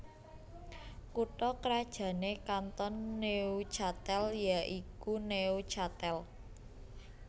Kutha krajané Kanton Neuchâtel ya iku Neuchâtel